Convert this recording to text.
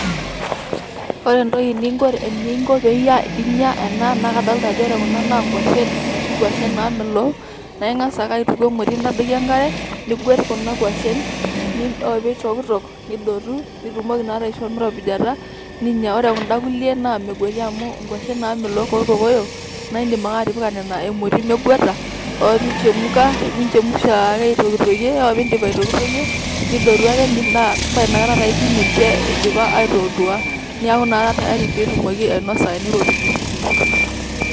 Ore entoki ninko eninko pinya ena, na kadolta ajo ore kuna na nkwashen, noshi kwashen namelook. Na ing'asa ake aituku emoti nintadoki enkare, niguet kuna kwashen. Ore pitokitok, nidotu. Nitumoki naa aishoo miropijita. Ore kunda kulie na megueti amu nkwashen namelook orkokoyo, na idim ake atipika nena emoti meguata, ore pichemuka, ninchemusha ake aitokitokie. Ore piidip aitokitokie, nidotu ake na painakata taa ikiny ninche eidipa aitotua. Neeku na ketayari pitumoki ainosa teniropiju.